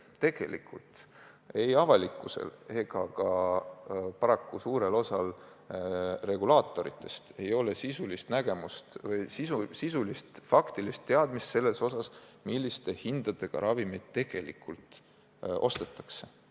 Tegelikult ei avalikkusel ega ka paraku suurel osal reguleerijatest ei ole sisulist faktilist teadmist, milliste hindadega ravimid tegelikult ostetakse.